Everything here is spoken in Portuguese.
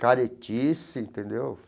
caretice, entendeu?